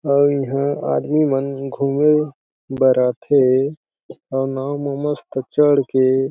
अउ इहा आदमी मन घूमे बर आथे अउ नाव में मस्त में चढ़ के--